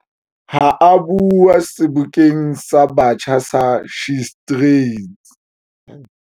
Ha a bua Sebokeng sa Batjha sa SheTrades.